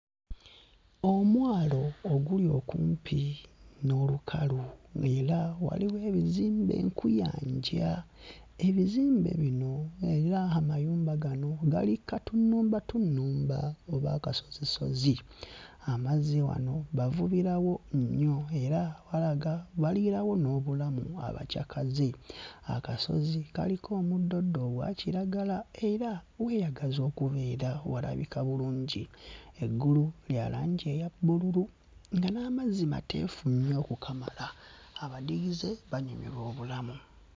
Omwalo oguli okumpi n'olukalu ng'era waliwo ebizimbe nkuyanja. Ebizimbe bino era amayumba gano gali ku katunnumbatunnumba oba akasozisozi. Amazzi wano bavubirawo nnyo era walaga baliirawo n'obulamu abacaakaze. Akasozi kaliko omuddoddo ogwa kiragala era weeyagaza okubeera, walabika bulungi. Eggulu lya langi eya bbululu nga n'amazzi mateefu nnyo okukamala; abadigize banyumirwa obulamu.